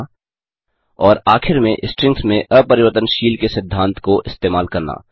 5और आखिर में स्ट्रिंग्स में अपरिवर्तनशील के सिद्धांत को इस्तेमाल करना